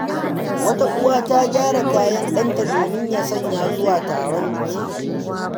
Wata uwa ta gyara kayan ɗanta domin ya sanya zuwa taron biki.